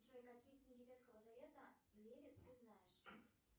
джой какие книги ветхого завета в мире ты знаешь